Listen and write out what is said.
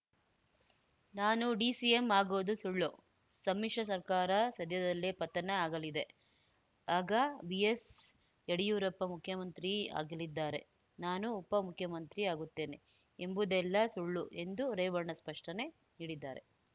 ನಾನು ಡಿಸಿಎಂ ಆಗೋದು ಸುಳ್ಳು ಸಮ್ಮಿಶ್ರ ಸರ್ಕಾರ ಸದ್ಯದಲ್ಲೇ ಪತನ ಆಗಲಿದೆ ಆಗ ಬಿಎಸ್‌ಯಡಿಯೂರಪ್ಪ ಮುಖ್ಯಮಂತ್ರಿ ಆಗಲಿದ್ದಾರೆ ನಾನು ಉಪ ಮುಖ್ಯಮಂತ್ರಿ ಆಗುತ್ತೇನೆ ಎಂಬುದೆಲ್ಲ ಸುಳ್ಳು ಎಂದು ರೇವಣ್ಣ ಸ್ಪಷ್ಟನೆ ನೀಡಿದ್ದಾರೆ